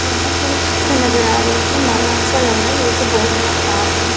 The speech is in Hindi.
यहाँ पर एक चित्र नजर आ रही है। मानो ऐसा लग रहा है ये कोई बहोत बड़ा पार्क है।